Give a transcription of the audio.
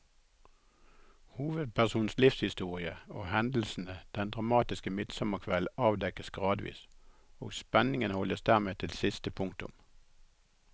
Hovedpersonens livshistorie og hendelsene den dramatiske midtsommerkvelden avdekkes gradvis, og spenningen holdes dermed til siste punktum.